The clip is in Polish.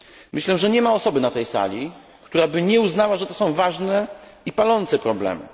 Myślę, że nie ma osoby na tej sali, która by nie uznała, że to są ważne i palące problemy.